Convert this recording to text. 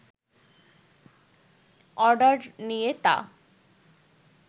order নিয়ে তা